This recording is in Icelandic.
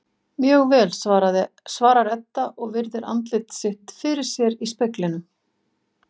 Mjög vel, svarar Edda og virðir andlit sitt fyrir sér í speglinum.